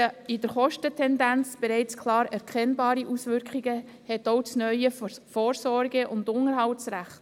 In der Kostentendenz bereits klar erkennbare Auswirkungen hat auch das neue Vorsorge- und Unterhaltsrecht.